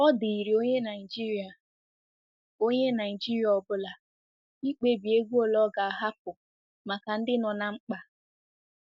Ọ dịịrị onye Naijiria ọ onye Naijiria ọ bụla ikpebi ego ole ọ ga-ahapụ maka ndị nọ ná mkpa.